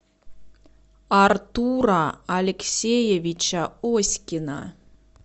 артура алексеевича оськина